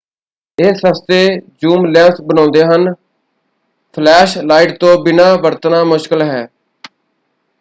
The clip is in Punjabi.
ਇਹ ਸਸਤੇ ਜ਼ੂਮ ਲੈਂਸ ਬਣਾਉਂਦੇ ਹਨ ਫਲੈਸ਼ ਲਾਈਟ ਤੋਂ ਬਿਨਾਂ ਵਰਤਣਾ ਮੁਸ਼ਕਿਲ ਹੈ।